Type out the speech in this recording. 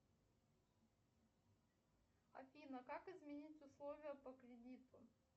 афина как изменить условия по кредиту